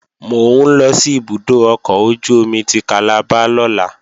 Mò ń lọ sí ibùdó ọkọ̀ ojú-omi ti Calabar lọ́la